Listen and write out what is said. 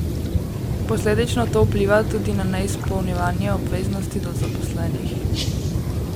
Posledično to vpliva tudi na neizpolnjevanje obveznosti do zaposlenih.